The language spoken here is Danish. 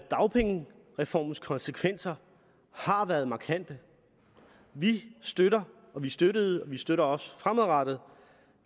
dagpengereformens konsekvenser har været markante vi støtter vi støttede og vi støtter også fremadrettet